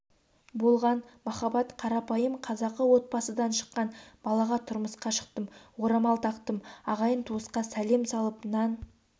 болған махаббат қарапайым қазақы отбасыдан шыққан балаға тұрмысқа шықтым орамал тақтым ағайын-туысқа сәлем салып нан